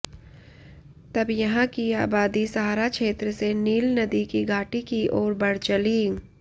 तब यहां की आबादी सहारा क्षेत्र से नील नदी की घाटी की ओर बढ़ चली